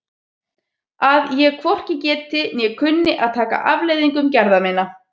Að ég hvorki geti né kunni að taka afleiðingum gerða minna?